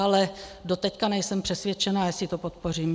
Ale doteď nejsem přesvědčena, jestli to podpořím.